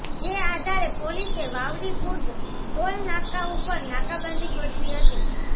જે આધારે પોલીસે વાવડીખુર્દ ટોલનાકા ઉપર નાકાબંધી ગોઠવી હતી